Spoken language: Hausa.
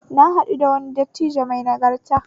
Na haɗu da wani dattijo mai nagarta